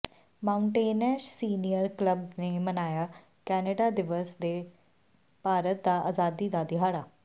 Mountain Ash senior club ਨੇ ਮਨਾਇਆ Canada ਦਿਵਸ ਤੇ ਭਾਰਤ ਦੀ ਆਜ਼ਾਦੀ ਦਾ ਦਿਹਾੜਾ